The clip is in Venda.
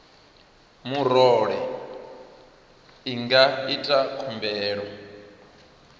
murole i nga ita khumbelo